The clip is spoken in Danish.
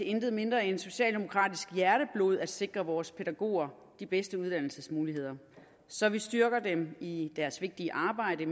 intet mindre end socialdemokratisk hjerteblod at sikre vores pædagoger de bedste uddannelsesmuligheder så vi styrker dem i deres vigtige arbejde